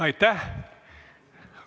Aitäh!